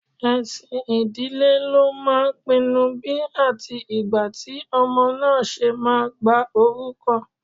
Ẹ̀sìn ìdílé ló máà ń pinnú bí atí igbá tí ọmọ náà ṣe máa gba orúkọ.